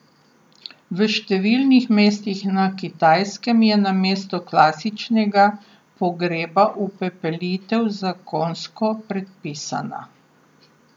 V številnih mestih na Kitajskem je namesto klasičnega pogreba upepelitev zakonsko predpisana.